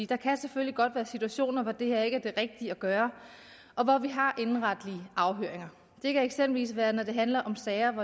der kan selvfølgelig godt være situationer hvor det her ikke at gøre og hvor vi har indenretlige afhøringer det kan eksempelvis være når det handler om sager om